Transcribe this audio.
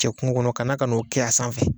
Cɛ kungo kɔnɔ kana k'o kɛ a sanfɛ.